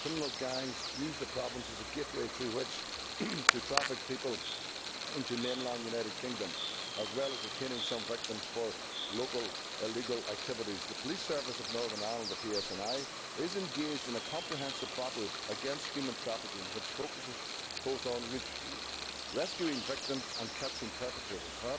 Criminal gangs use the province as a gateway to traffic people into the mainland United Kingdom, as well as retaining some victims for local illegal activities. The Police Service of Northern Ireland, the PSNI, is engaged in a comprehensive battle against human trafficking, which focuses both on rescuing victims and catching perpetrators.